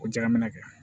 O ja minɛ kɛ